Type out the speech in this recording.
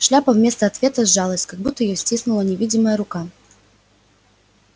шляпа вместо ответа сжалась как будто её стиснула невидимая рука